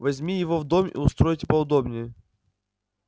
возьми его в дом и устройте поудобнее